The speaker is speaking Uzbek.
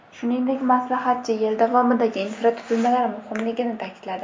Shuningdek, maslahatchi yil davomidagi infratuzilmalar muhimligini ta’kidladi.